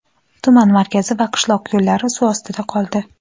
tuman markazi va qishloq yo‘llari suv ostida qoldi.